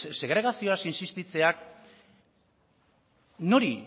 segregazioaz insistitzeak nori